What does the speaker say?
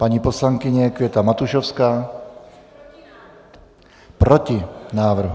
Paní poslankyně Květa Matušovská: Proti návrhu.